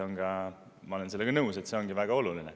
Ja ma olen sellega nõus, et see ongi väga oluline.